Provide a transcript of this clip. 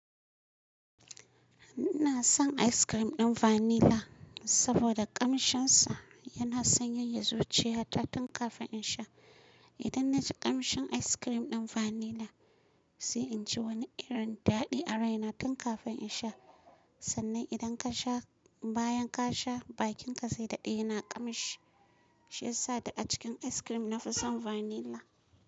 Ina son ice cream ɗin vanilla saboda ƙamshinsa yana sanyaya zuciyata tun kafin in sha. Idan na ji ƙamshin ice cream ɗin vanilla, sai in ji wani irin daɗi a raina tun kafin in sha. Sannan idan ka sha, bayan ka sha, bakinka zai daɗe yana ƙamshi. Shi ya sa da a cikin ice cream na fi son vanilla.